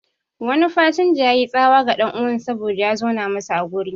Wani fasinja yayi tsawa ga ɗan'uwansa saboda ya zauna masa a guri